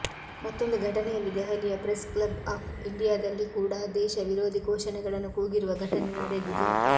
ಮತ್ತೊಂದು ಘಟನೆಯಲ್ಲಿ ದೆಹಲಿಯ ಪ್ರೆಸ್ ಕ್ಲಬ್ ಆಫ್ ಇಂಡಿಯಾದಲ್ಲಿ ಕೂಡಾ ದೇಶ ವಿರೋಧಿ ಘೋಷಣೆಗಳನ್ನು ಕೂಗಿರುವ ಘಟನೆ ನಡೆದಿದೆ